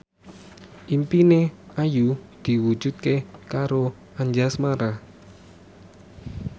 impine Ayu diwujudke karo Anjasmara